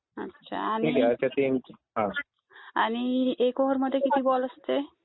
अच्छा आणि एक ओवर मधे किती बॉल असते?